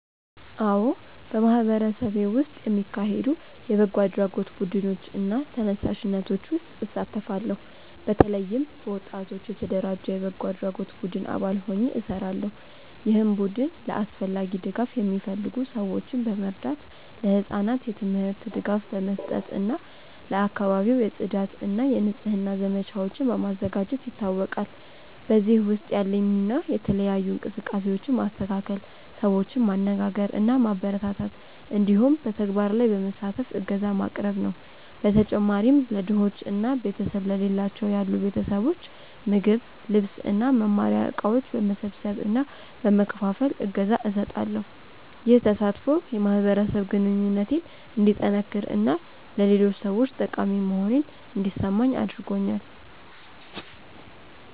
አዎ፣ በማህበረሰቤ ውስጥ የሚካሄዱ የበጎ አድራጎት ቡድኖች እና ተነሳሽነቶች ውስጥ እሳተፋለሁ። በተለይም በወጣቶች የተደራጀ የበጎ አድራጎት ቡድን አባል ሆኜ እሰራለሁ፣ ይህም ቡድን ለአስፈላጊ ድጋፍ የሚፈልጉ ሰዎችን በመርዳት፣ ለህጻናት የትምህርት ድጋፍ በመስጠት እና ለአካባቢው የጽዳት እና የንጽህና ዘመቻዎችን በማዘጋጀት ይታወቃል። በዚህ ውስጥ ያለኝ ሚና የተለያዩ እንቅስቃሴዎችን ማስተካከል፣ ሰዎችን ማነጋገር እና ማበረታታት እንዲሁም በተግባር ላይ በመሳተፍ እገዛ ማቅረብ ነው። በተጨማሪም ለድሆች እና ቤተሰብ ለሌላቸው ያሉ ቤተሰቦች ምግብ፣ ልብስ እና መማሪያ እቃዎች በመሰብሰብ እና በመከፋፈል እገዛ እሰጣለሁ። ይህ ተሳትፎ የማህበረሰብ ግንኙነቴን እንዲጠነክር እና ለሌሎች ሰዎች ጠቃሚ መሆኔን እንዲሰማኝ አድርጎኛል።